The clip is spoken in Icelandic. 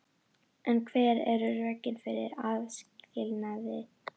En hver eru rökin fyrir aðskilnaði?